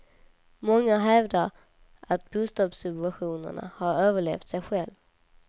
Många hävdar att bostadssubventionerna har överlevt sig själva.